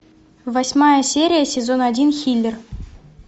восьмая серия сезон один хилер